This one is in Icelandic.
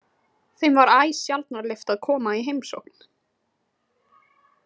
Þeim var æ sjaldnar leyft að koma í heimsókn.